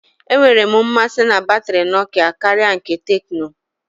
Enwere m mmasị na batrị Nokia karịa nke Tecno.